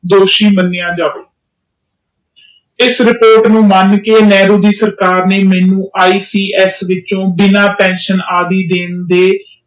ਦੋਸ਼ੀ ਮੰਨਿਆ ਜਾਵੇ ਇਸ ਰਿਪੋਰਟ ਨੂੰ ਮਨ ਕੇ ਨਹਿਰੂ ਦੇ ਸਰਕਾਰ ਨੇ ਮੈਨੂੰ ਆਈ ਸੀ ਆਸ ਵਿੱਚੋ ਬਿਨਾ ਪੈਨਸ਼ਨ ਆਦਿ ਦੇ ਦੋਸ਼ੀ ਮਾਣਿਆ ਜਾਵੇ।